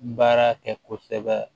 Baara kɛ kosɛbɛ